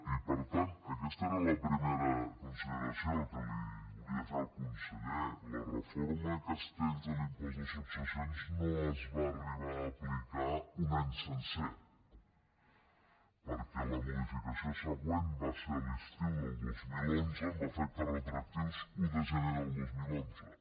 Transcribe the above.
i per tant aquesta era la primera consideració que li volia fer al conseller la reforma castells de l’impost de successions no es va arribar a aplicar un any sencer perquè la modificació següent va ser a l’estiu del dos mil onze amb efectes retroactius a l’un de gener del dos mil onze